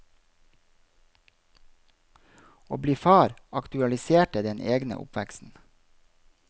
Å bli far aktualiserte den egne oppveksten.